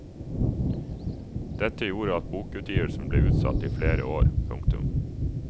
Dette gjorde at bokutgivelsen ble utsatt i flere år. punktum